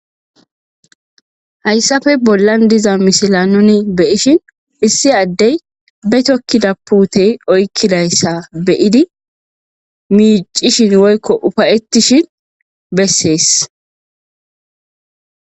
Hayisafe bollan diza misila nuni beyishin issi addey be tokkida puutey oykkidayssa beyidi miicishin woykko ufayetishin beses